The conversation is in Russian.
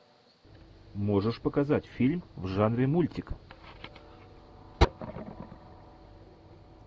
можешь показать фильм в жанре мультика